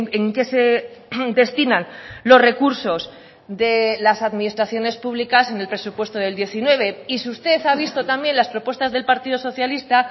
en qué se destinan los recursos de las administraciones públicas en el presupuesto del diecinueve y si usted ha visto también las propuestas del partido socialista